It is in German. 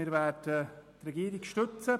Wir werden die Regierung unterstützen.